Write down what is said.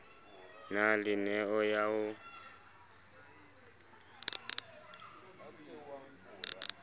na le neo ya ho